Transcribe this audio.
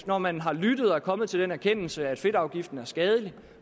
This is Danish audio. når man har lyttet og er kommet til den erkendelse at fedtafgiften er skadelig